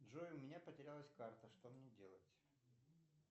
джой у меня потерялась карта что мне делать